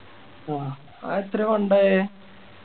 അതെത്രയാ Fund ആയെ